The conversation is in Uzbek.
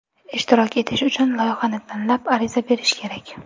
Ishtirok etish uchun loyihani tanlab, ariza berish kerak.